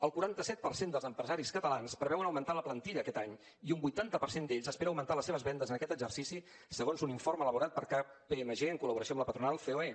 el quaranta set per cent dels empresaris catalans preveuen augmentar la plantilla aquest any i un vuitanta per cent d’ells espera augmentar les seves vendes en aquest exercici segons un informe elaborat per kpmg en col·laboració amb la patronal ceoe